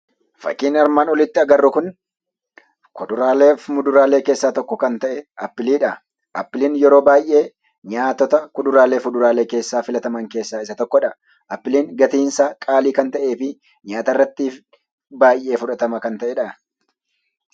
Fakkiin armaan olitti agarru kun kuduraaleef muduraalee keessaa tokko kan ta'e appiliidha. Appiliin yeroo baay'ee nyaatota kuduraaleef fuduraalee keessaa filataman keessaa isa tokkodha. Appiliin gatiinsaa qaalii kan ta'ee fi nyaata irrattiif baay'ee fudhatama kan ta'edhaa.